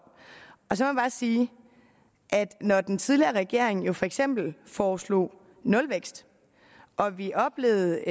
så bare sige at når den tidligere regering jo for eksempel foreslog nulvækst og vi oplevede